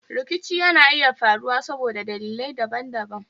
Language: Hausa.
Rikici Yana iya faruwa saboda dalilai daban-daban.